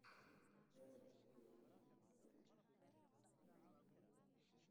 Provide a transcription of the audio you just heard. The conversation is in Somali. Baraha bulshadu waxay noqon kartaa qalab lagu wada hadlo waxbarasho.